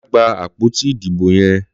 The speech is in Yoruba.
Lọ fipá gbá àpótí idibó yèn